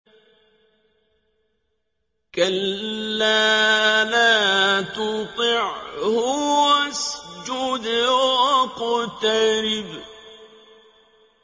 كَلَّا لَا تُطِعْهُ وَاسْجُدْ وَاقْتَرِب ۩